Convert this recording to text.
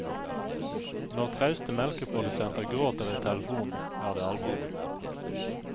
Når trauste melkeprodusenter gråter i telefonen, er det alvor.